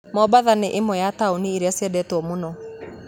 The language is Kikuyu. Mombatha nĩ ĩmwe ya taũni iria ciendetwo mũno